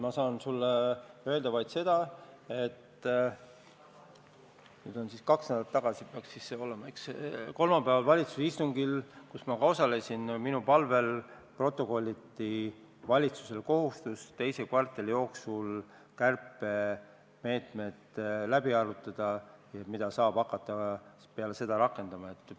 Ma saan sulle öelda vaid seda, et vist kaks nädalat tagasi kolmapäevasel valitsuse istungil, kus ma osalesin, protokolliti minu palvel valitsuse kohustus teise kvartali jooksul kärpemeetmed läbi arutada, misjärel saaks neid rakendama hakata.